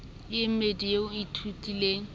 e mmedi eo o ithutileng